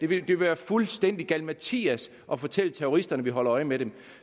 ville være fuldstændig galimatias at fortælle terroristerne at vi holder øje med dem